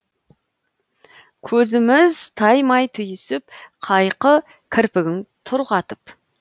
көзіміз таймай түйісіп қайқы кірпігің тұр қатып